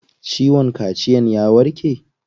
Ciwon kaciyan ya warke?